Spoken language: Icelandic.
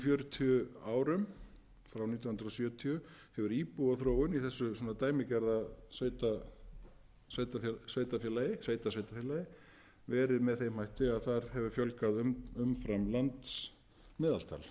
fjörutíu árum frá nítján hundruð sjötíu hefur íbúaþróun í þessu dæmigerða sveitarfélagi verið með þeim hætti að þar hefur fjölgað umfram landsmeðaltal allan þann tíma það